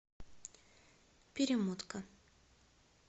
перемотка